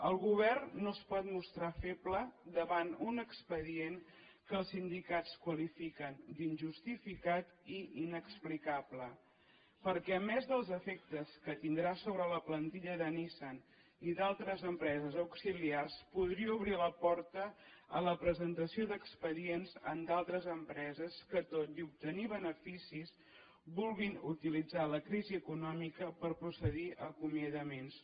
el govern no es pot mostrar feble davant un expedient que els sindicats qualifiquen d’injustificat i inexplicable perquè a més dels efectes que tindrà sobre la plantilla de nissan i d’altres empreses auxiliars podria obrir la porta a la presentació d’expedients d’altres empreses que tot i obtenir beneficis vulguin utilitzar la crisi econòmica per procedir a acomiadaments